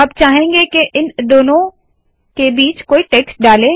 अब चाहेंगे के इन दोनों के बीच कोई टेक्स्ट डाले